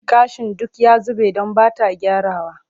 Gashin duk ya zube don ba ta gyrawa.